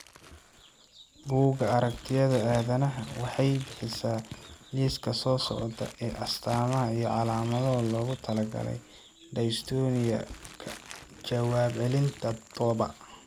Buugga Aragtiyaha Aadanaha waxay bixisaa liiska soo socda ee astamaha iyo calaamadaha loogu talagalay dystonia ka jawaab celinta Dopa.